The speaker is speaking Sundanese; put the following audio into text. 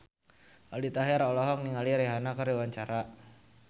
Aldi Taher olohok ningali Rihanna keur diwawancara